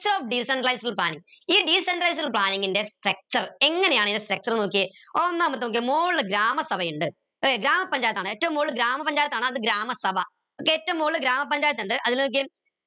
so decentralized planning ഈ decentralized planning ൻ്റെ structure എങ്ങനെയാണ് ഇതിന്റെ structure ന്ന് നോക്കിയേ ഒന്നാമത്തെ നോക്കിയേ മോളി ഗ്രാമസഭയുണ്ട് ഏർ ഗ്രാമപഞ്ചായത്ത് ആണ് ഏറ്റവും മുകളിൽ ഗ്രാമപഞ്ചായത്താണ് ഗ്രാമസഭ ഏറ്റവും മുകളിൽ ഗ്രാമപഞ്ചായത്തിണ്ട് അതിൽ നോക്കിയേ